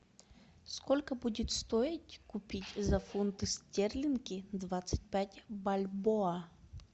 сколько будет стоить купить за фунты стерлинги двадцать пять бальбоа